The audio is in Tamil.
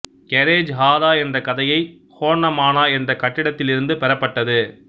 கெரெஜ் ஹாரா என்ற கதையை ஹோன்னமானா என்ற கட்டிடத்திலிருந்து பெறப்பட்டது